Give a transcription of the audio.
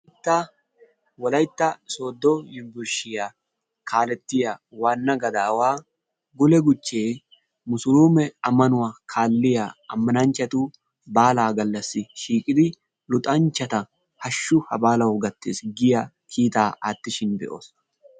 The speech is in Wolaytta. Ta Wolaytta sooddo yunbburshiya kaalettiya waanna gadaawaa Gule Guchchee musuluume ammanuwa kaalliya ammananchchatu baalaa gallassi shiiqidi luxanchchata hashshu ha baalawu gattiis giya kiitaa aattishin be'oos.